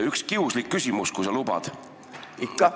Üks kiuslik küsimus, kui sa lubad.